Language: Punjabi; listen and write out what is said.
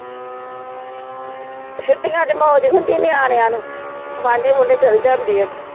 ਛੁਟੀਆਂ ਚ ਮੌਜ ਹੁੰਦੀ ਨਿਆਣਿਆਂ ਨੂੰ ਚਲ ਜਾਂਦੇ ਆ